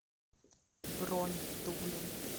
бронь дублин